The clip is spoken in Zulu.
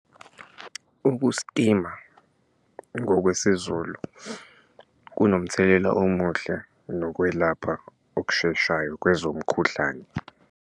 Ukusitima ngokwesiZulu kunomthelela omuhle nokwelapha okusheshayo kwezomkhuhlane.